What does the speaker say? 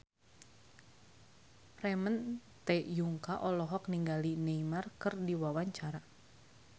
Ramon T. Yungka olohok ningali Neymar keur diwawancara